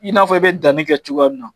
I n'afɔ i be danni kɛ cogoya min na.